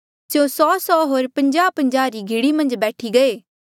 स्यों सौसौ होर पन्ज्याहपन्ज्याहा री घीढ़ी मन्झ बैठी गये